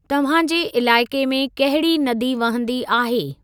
तव्हांजे इलाइक़े में कहिड़ी नदी वहंदी आहे?